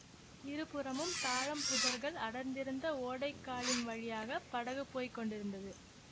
இருபுறமும் தாழம் புதர்கள் அடர்ந்திருந்த ஓடை காலின் வழியாக படகு போய் கொண்டிருந்தது